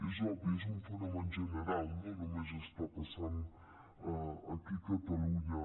és obvi és un fenomen general no només està passant aquí a catalunya